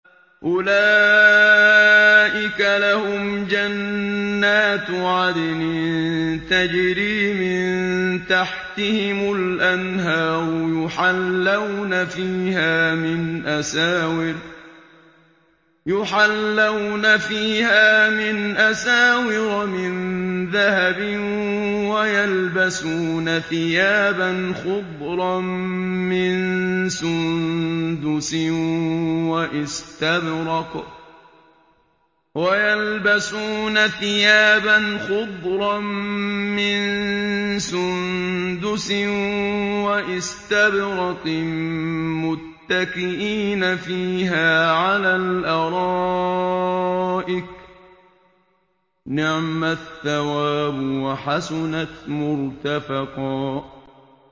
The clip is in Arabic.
أُولَٰئِكَ لَهُمْ جَنَّاتُ عَدْنٍ تَجْرِي مِن تَحْتِهِمُ الْأَنْهَارُ يُحَلَّوْنَ فِيهَا مِنْ أَسَاوِرَ مِن ذَهَبٍ وَيَلْبَسُونَ ثِيَابًا خُضْرًا مِّن سُندُسٍ وَإِسْتَبْرَقٍ مُّتَّكِئِينَ فِيهَا عَلَى الْأَرَائِكِ ۚ نِعْمَ الثَّوَابُ وَحَسُنَتْ مُرْتَفَقًا